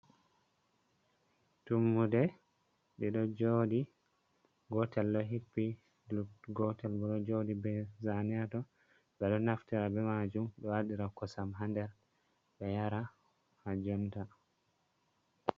Tummude ɗiɗo joɗi gotel ɗo hippi, gotel bo ɗo joɗi be zane haton, ɓe ɗo naftira be majum ɗo waɗira kosam ha nder ɓe yara ha jonta.